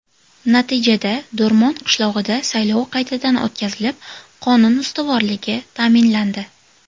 Natijada Do‘rmon qishlog‘ida saylov qaytadan o‘tkazilib, qonun ustuvorligi ta’minlandi.